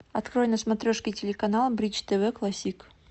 открой на смотрешке телеканал бридж тв классик